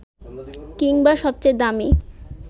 কিংবা সবচেয়ে দামী